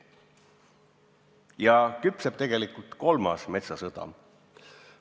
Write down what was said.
Ja küpseb tegelikult kolmas metsasõda.